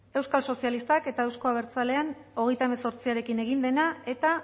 euskal sozialistak eta euzko abertzalean hogeita hemezortziarekin egin dena eta